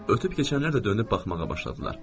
Ötüb keçənlər də dönüb baxmağa başladılar.